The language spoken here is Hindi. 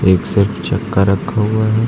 एक सेट चक्का रखा हुआ है।